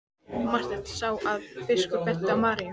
Marteinn sá að biskup benti á Maríu.